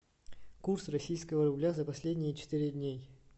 курс российского рубля за последние четыре дней